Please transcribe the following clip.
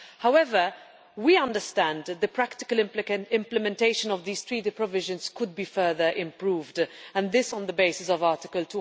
However, we understand that the practical implementation of these Treaty provisions could be further improved, and this on the basis of Article